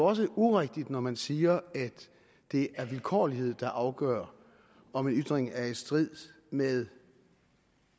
også urigtigt når man siger at det er vilkårlighed der afgør om en ytring er i strid med